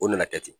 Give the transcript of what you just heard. O nana kɛ ten